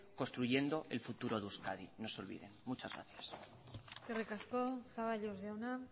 construyendo el futuro de euskadi no se olviden muchas gracias eskerrik asko zaballos jauna